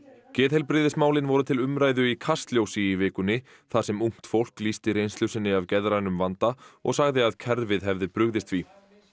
geðheilbrigðismálin voru til umræðu í Kastljósi í vikunni þar sem ungt fólk lýsti reynslu sinni af geðrænum vanda og sagði að kerfið hefði brugðist því